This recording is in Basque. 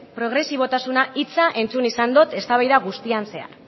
progresibotasuna hitza entzun izan dut eztabaida guztian zehar